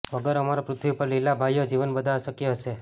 વગર અમારા પૃથ્વી પર લીલા ભાઈઓ જીવન બધા અશક્ય હશે